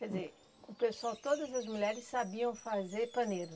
Quer dizer, o pessoal, todas as mulheres sabiam fazer paneiro.